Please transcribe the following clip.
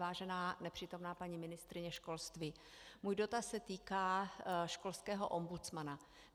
Vážená nepřítomná paní ministryně školství, můj dotaz se týká školského ombudsmana.